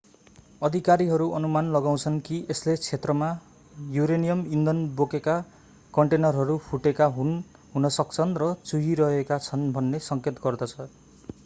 अधिकारीहरू अनुमान लगाउँछन् कि यसले क्षेत्रमा यूरेनियम ईन्धन बोकेका कन्टेनरहरू फुटेका हुन सक्छन् र चुहिरहेका छन् भन्ने सङ्केत गर्दछ